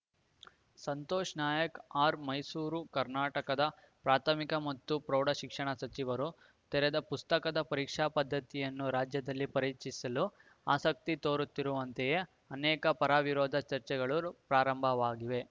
Santosh Nayak R Mysuru ಕರ್ನಾಟಕದ ಪ್ರಾಥಮಿಕ ಮತ್ತು ಪ್ರೌಢ ಶಿಕ್ಷಣ ಸಚಿವರು ತೆರೆದ ಪುಸ್ತಕದ ಪರೀಕ್ಷಾ ಪದ್ಧತಿಯನ್ನು ರಾಜ್ಯದಲ್ಲಿ ಪರಿಚಯಿಸಲು ಆಸಕ್ತಿ ತೋರುತ್ತಿರುವಂತೆಯೇ ಅನೇಕ ಪರವಿರೋಧ ಚರ್ಚೆಗಳು ಪ್ರಾರಂಭವಾಗಿವೆ